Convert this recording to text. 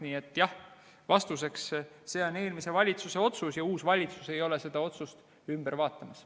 Nii et jah, see on eelmise valitsuse otsus ja uus valitsus ei ole seda otsust ümber vaatamas.